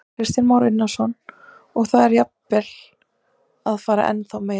Kristján Már Unnarsson: Og er það jafnvel að fara í ennþá meira?